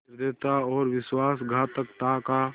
निर्दयता और विश्वासघातकता का